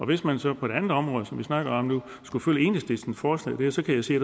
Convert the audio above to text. hvis man så på et andet område som vi snakker om nu skulle følge enhedslistens forslag her så kan jeg se